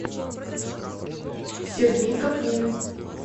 сергей капнин